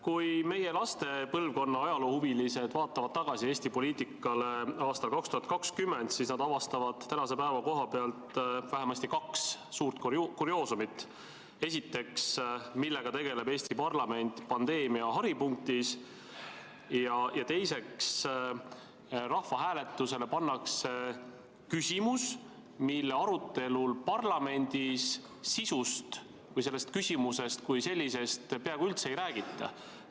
Kui meie laste põlvkonna ajaloohuvilised vaatavad tagasi Eesti poliitikale aastal 2020, siis nad avastavad tänase päeva koha pealt vähemasti kaks kurioosumit: esiteks, millega tegeleb Eesti parlament pandeemia haripunktis; ja teiseks, rahvahääletusele pannakse küsimus, mille arutelul parlamendis selle sisust või sellest küsimusest kui sellisest peaaegu üldse ei räägita.